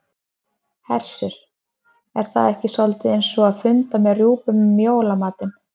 Hersir: Er það ekki soldið eins og að funda með rjúpum um jólamatinn?